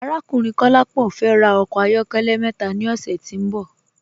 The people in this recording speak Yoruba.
Arákùnrin Kọ̀lápọ fẹ́ rà ọkọ ayọ̀kẹlẹ̀ mẹta ni ọṣẹ̀ tí n bọ̀.